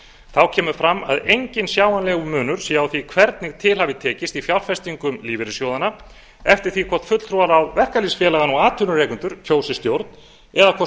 þá kemur fram að enginn sjáanlegur munur sé á því hvernig til hafi tekist í fjárfestingum lífeyrissjóðanna eftir því hvort fulltrúar verkalýðsfélaganna og atvinnurekendur kjósi stjórn eða hvort